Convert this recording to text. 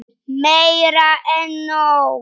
Meira en nóg.